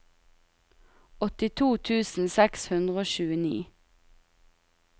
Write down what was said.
åttito tusen seks hundre og tjueni